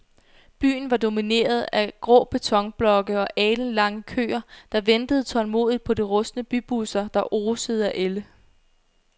Byen var domineret af grå betonblokke og alenlange køer, der ventede tålmodigt på de rustne bybusser, der osede af ælde.